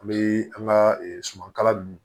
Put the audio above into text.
An bɛ an ka suman kala ninnu